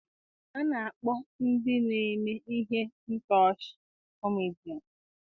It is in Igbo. A na-akpọ ndị na-eme ihe ntọchi 'kọmedịans'